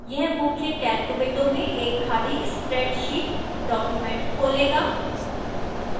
यह मुख्य calc window में एक खाली spreadsheet document खोलेगा